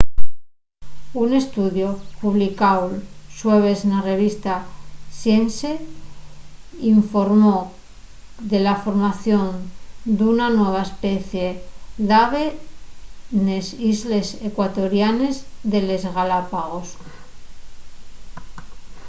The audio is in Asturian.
un estudiu publicáu'l xueves na revista science informó de la formación d'una nueva especie d'ave nes islles ecuatorianes de les galápagos